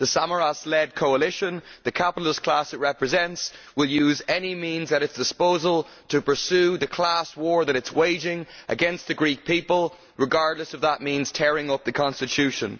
The Samaras led coalition, the capitalist class it represents, will use any means at its disposal to pursue the class war which it is waging against the Greek people, regardless of whether that means tearing up the constitution.